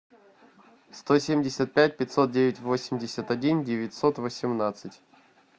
сто семьдесят пять пятьсот девять восемьдесят один девятьсот восемнадцать